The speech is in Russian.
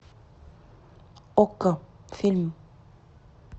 окко фильм